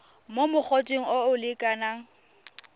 mo mogoteng o o lekanang